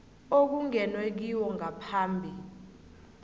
okungenwe kiwo ngaphambi